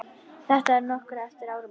Þetta var nokkru eftir áramót.